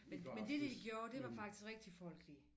Men men det de gjorde det var faktisk rigtig folkelig